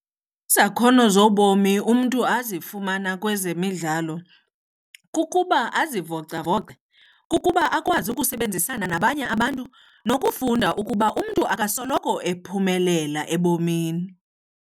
Izakhono zobomi umntu azifumana kwezemidlalo kukuba azivocavoce, kukuba akwazi ukusebenzisana nabanye abantu nokufunda ukuba umntu akasoloko ephumelela ebomini.